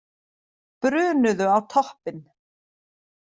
Brunuðu á toppinn